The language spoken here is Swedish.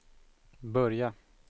börja